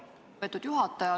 Lugupeetud juhataja!